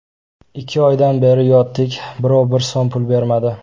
Ikki oydan beri yotdik, birov bir so‘m pul bermadi.